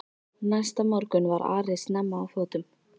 Næsta morgun var Ari snemma á fótum.